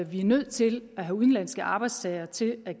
vi er nødt til at have udenlandske arbejdstagere til at